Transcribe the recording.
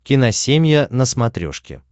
киносемья на смотрешке